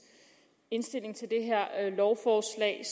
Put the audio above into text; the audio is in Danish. indstilling til det her lovforslag